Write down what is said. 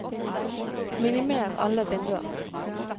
minimer alle vinduer